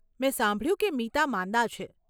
મેં સાંભળ્યું કે મીતા માંદા છે.